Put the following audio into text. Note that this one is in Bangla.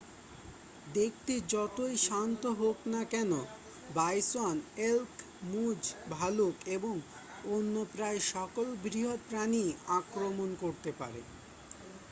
দেখতে যতই শান্ত হোক না কেন বাইসন এল্ক মুজ ভালুক এবং অন্য প্রায় সকল বৃহৎ প্রাণীই আক্রমণ করতে পারে